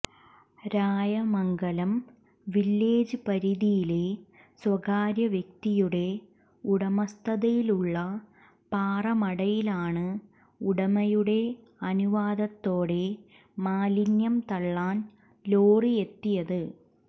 Rayamangalam village പരിധിയിലെ സ്വകാര്യവ്യക്തിയുടെ ഉടമസ്ഥതയിലുള്ള പാറമടയിലാണ് ഉടമയുടെ അനുവാദത്തോടെ മാലിന്യം തള്ളാൻ ലോറിയെത്തിയത്